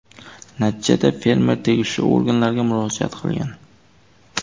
Natijada fermer tegishli organlarga murojaat qilgan.